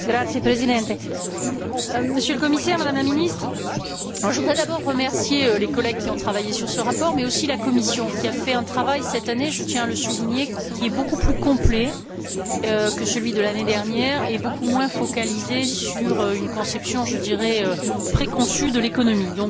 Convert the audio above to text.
Monsieur le Président, Monsieur le Commissaire, Madame la Ministre, je voudrais d'abord remercier les collègues qui ont travaillé sur ce rapport, mais aussi la Commission qui a fait un travail cette année je tiens à le souligner qui est beaucoup plus complet que celui de l'année dernière et beaucoup moins focalisé sur une conception préconçue de l'économie.